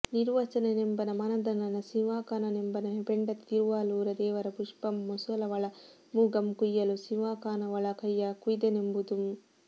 ನಿರ್ವಚನನೆಂಬನ ಮಾನಧನನ ಸಿಂಹಾಕನೆಂಬನ ಪೆಂಡತಿ ತಿರುವಾಲೂರ ದೇವರ ಪುಷ್ಟಮಂ ಮೂಸಲವಳ ಮೂಗಂ ಕುಯ್ಯಲು ಸಿಂಹಾಕನವಳ ಕೈಯ ಕುಯ್ದನೆಂಬುದುಂ